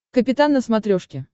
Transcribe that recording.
капитан на смотрешке